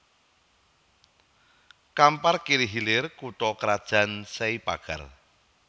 Kampar Kiri Hilir kutha krajan Sei Pagar